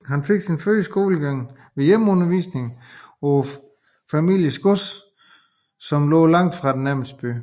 Han fik sin første skolegang ved hjemmeundervisning på familiens gods som lå langt fra den nærmeste by